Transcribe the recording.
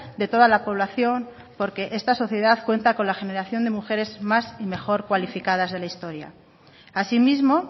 de toda la población porque esta sociedad cuenta con la generación de mujeres más y mejor cualificadas de la historia asimismo